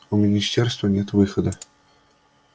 у министерства нет выхода